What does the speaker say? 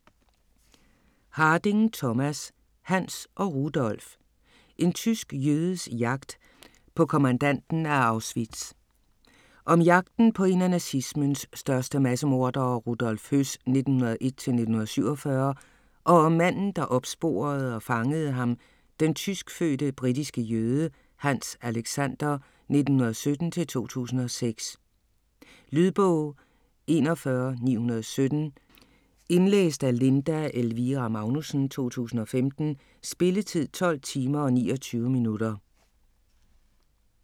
Harding, Thomas: Hanns og Rudolf: en tysk jødes jagt på kommandanten af Auschwitz Om jagten på en af nazismens største massemordere, Rudolf Höss (1901-1947), og om manden der opsporede og fangede ham, den tyskfødte britiske jøde, Hanns Alexander (1917-2006). Lydbog 41917 Indlæst af Linda Elvira Magnussen, 2015. Spilletid: 12 timer, 29 minutter.